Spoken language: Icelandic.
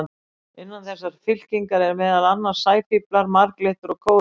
Innan þessarar fylkingar eru meðal annars sæfíflar, marglyttur og kórallar.